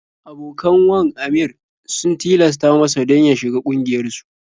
Abokan wan Aminr sun tilasta masa don ya shiga ƙungiyarsu.